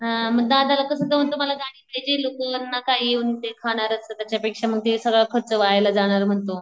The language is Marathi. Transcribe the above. ह्ह मग दादाला कास तुम्हाला गाडी पाहिजे त्याच्या पेक्षा सगळं खर्च व्हायला जाणार म्हणतो